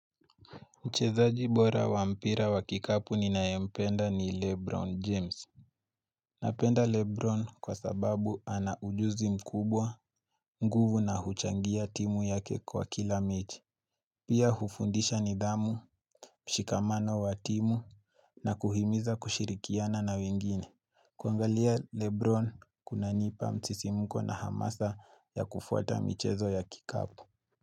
Mcheza jibora wa mpira wa kikapu ninae mpenda ni Lebron James. Napenda Lebron kwa sababu ana ujuzi mkubwa, nguvu na huchangia timu yake kwa kila mechi. Pia hufundisha ni dhamu, mshikamano wa timu, na kuhimiza kushirikiana na wengine. Kuangalia Lebron kuna nipa mtsisimuko na hamasa ya kufuata michezo ya kikapu.